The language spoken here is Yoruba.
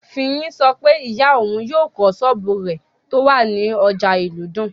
Fiyin sọ pé ìyá òun yóò kọ́ sọ́ọ̀bù rẹ̀ tó wà ní ọjà ìlúdùn